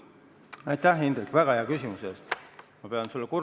Aitäh, Indrek, väga hea küsimuse eest!